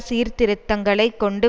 சீர்திருத்தங்களை கொண்டு